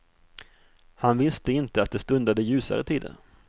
Han visste inte att det stundade ljusare tider.